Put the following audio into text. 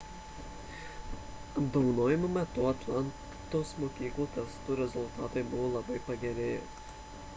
apdovanojimo metu atlantos mokyklų testų rezultatai buvo labai pagerėję